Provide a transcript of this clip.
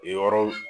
Yen yɔrɔw